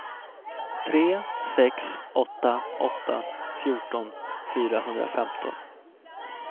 tre sex åtta åtta fjorton fyrahundrafemton